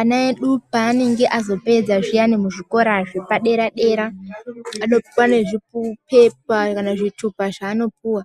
Ana edu kana azopedza zviyana muzvikora zvepadera dera anopuwa zvipepa kana zvitupa zvavanopuwa